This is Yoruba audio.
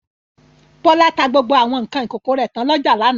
Bọ́lá ta gbogbo àwọn nǹkan ìkókó rẹ̀ tán lọ́jà lánàá.